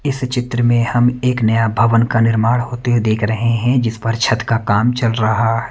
इस चित्र में हम एक नया भवन का निर्माण होते हुए देख रहे हैं जिस पर छत का काम चल रहा है।